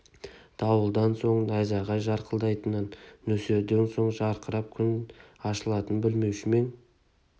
дауылдан соң найзағай жарқылдайтынын нөсерден соң жарқырап күн ашылатынын білмеуші ме ең